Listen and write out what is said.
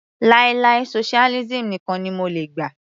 Láì láì socialism nìkan ni mo lè gbà.